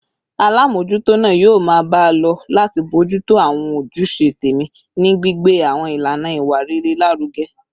Alámòójútó náà yóò máa bá a lọ láti bójú tó àwọn ojúṣe tẹ̀mí, ní gbígbé àwọn ìlànà ìwà rere lárugẹ